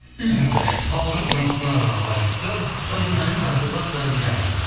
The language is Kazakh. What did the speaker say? түсінікті халықтың сұраныса байланысты тойдың әнін жазуға тура келеді ән екен